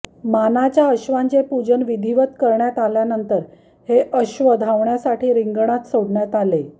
मानाच्या अश्वांचे पूजन विधिवत करण्यात आल्यानंतर हे अश्व धावण्यासाठी रिंगणात सोडण्यात आले